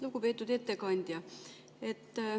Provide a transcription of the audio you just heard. Lugupeetud ettekandja!